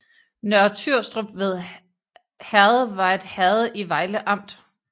Nørre Tyrstrup Herred var et herred i Vejle Amt